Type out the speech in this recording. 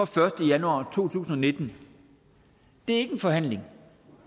første januar to tusind og nitten det er ikke en forhandling